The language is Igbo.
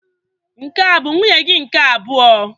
Nke a bụ nwunye gị nke abụọ?